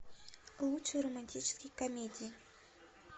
лучшие романтические комедии